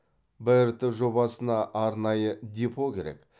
брт жобасына арнайы депо керек